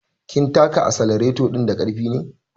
Kin taka asalareto ɗin da ƙarfi ne